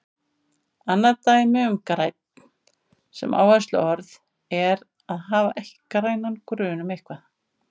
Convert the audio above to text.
Annað dæmi um grænn sem áhersluorð er að hafa ekki grænan grun um eitthvað.